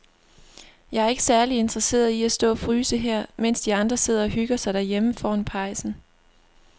Jeg er ikke særlig interesseret i at stå og fryse her, mens de andre sidder og hygger sig derhjemme foran pejsen.